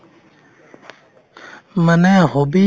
মানে hobby